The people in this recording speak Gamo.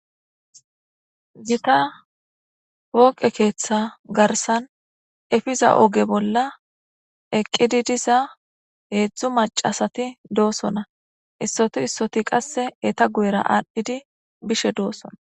Gitta pooqe ketha garsan epiza oge bolla eqida diza hezhu macasat dosona. Issoti issoti qase eeta guyera adhid bishe dosona.